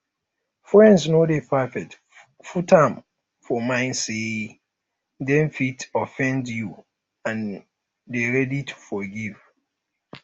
friends no dey perfect put am for mind sey um dem um fit offend you and dey ready to forgive